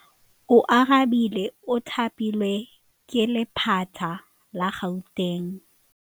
Oarabile o thapilwe ke lephata la Gauteng.